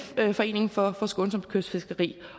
foreningen for skånsomt kystfiskeri